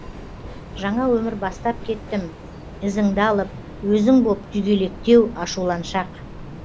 жаңа өмір бастап кеттім ізіңді алып өзің боп күйгелектеу ашуланшақ